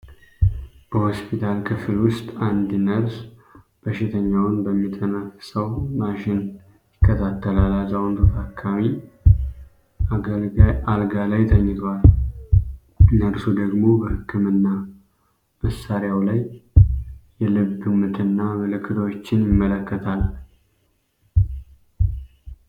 በሆስፒታል ክፍል ውስጥ አንድ ነርስ በሽተኛውን በሚተነፍሰው ማሽን ይከታተላል። አዛውንቱ ታካሚ አልጋ ላይ ተኝተዋል፤ ነርሱ ደግሞ በህክምና መሳሪያው ላይ የልብ ምትና ምልክቶችን ይመለከታል።